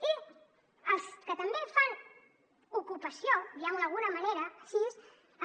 i els que també fan ocupació diguem ho d’alguna manera així